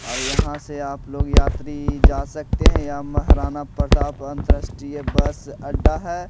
और यहां से आप लोग यात्री जा सकते हैं यह महाराणा प्रताप अंतरराष्ट्रीय बस अड्डा है।